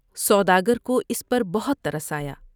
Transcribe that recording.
سوداگر کو اس پر بہت ترس آیا ۔